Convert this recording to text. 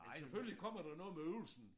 Men selvfølgelig kommer der noget med øvelsen